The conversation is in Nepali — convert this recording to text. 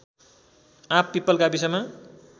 आँपपिपल गाविसमा